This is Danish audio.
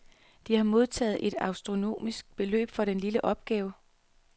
De har modtaget et astronomisk beløb for den lille opgave.